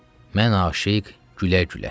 Mən aşiq, gülə-gülə.